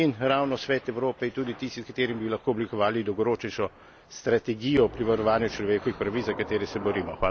In ravno Svet Evrope je tudi tisti, s katerim bi lahko oblikovali dolgoročnejšo strategijo pri varovanju človekovih pravic, za katere se borimo.